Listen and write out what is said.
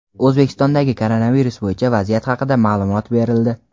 O‘zbekistondagi koronavirus bo‘yicha vaziyat haqida ma’lumot berildi.